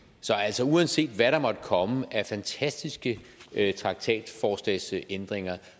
så uanset hvad der måtte komme af fantastiske traktatforslagsændringer